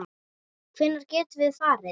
Hvenær getum við farið?